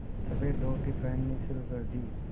सफ़ेद धोती पहननी शुरू कर दी